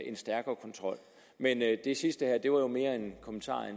en stærkere kontrol men det sidste her var jo mere en kommentar